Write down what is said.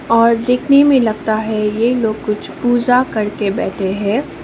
और देखने में लगता है ये लोग कुछ पूजा करके बैठे है।